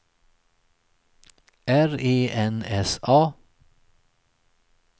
R E N S A